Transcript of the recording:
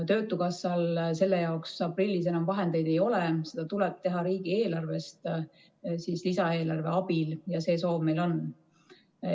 Töötukassal selle jaoks aprillis enam vahendeid ei ole, seda tuleb teha riigieelarvest lisaeelarve abil ja see soov meil on.